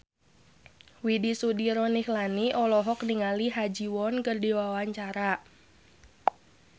Widy Soediro Nichlany olohok ningali Ha Ji Won keur diwawancara